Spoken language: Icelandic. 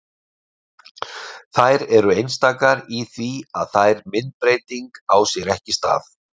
þær eru einstakar í því að þær myndbreyting á sér ekki stað